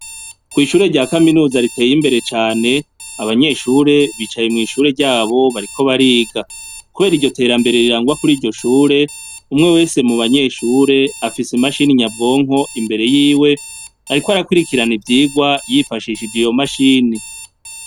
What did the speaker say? Kw'ishure rya kaminuza riteye imbere cane, abanyeshure bicaye mwishure ryabo bariko bariga .Kubera iryo terambere rirangwa Kuri iryo Shure umwe wese mubanyeshure afise imachini nyabwonko imbere yiwe ariko arakwirikirana ivyigwa yifashishije imashini.